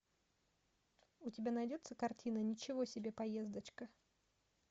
у тебя найдется картина ничего себе поездочка